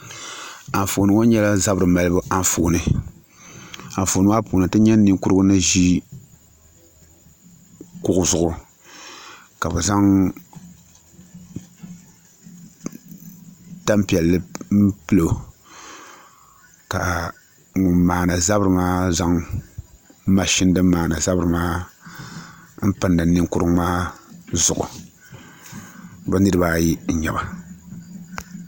Anfooni ŋo nyɛla zabiri malibu Anfooni Anfooni maa puuni ti nyɛ ninkurigu ni ʒi kuɣu zuɣu ka bi zaŋ tanpiɛlli pilo ka ŋun maandi zabiri maa zaŋ mashin din maandi zabiri maa n pindi ninkurigu maa zuɣu bi niraba ayi n nyɛba